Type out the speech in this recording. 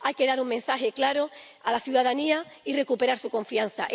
Hay que dar un mensaje claro a la ciudadanía y recuperar su confianza.